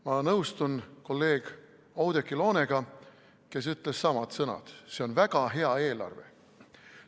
Ma nõustun kolleeg Oudekki Loonega, kes ütles samad sõnad: see on väga hea eelarve.